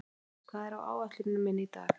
Finndís, hvað er á áætluninni minni í dag?